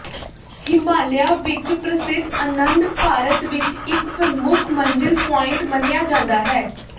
ਹਿਮਾਲੀਆ ਵਿਚ ਪ੍ਰਸਿੱਧ ਅਨੰਦ ਭਾਰਤ ਵਿਚ ਇਕ ਪ੍ਰਮੁੱਖ ਮੰਜ਼ਿਲ ਪੁਆਇੰਟ ਮੰਨਿਆ ਜਾਂਦਾ ਹੈ